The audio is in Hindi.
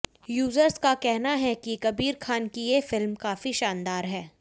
यूजर्स का कहना है कि कबीर खान की ये फिल्म काफी शानदार है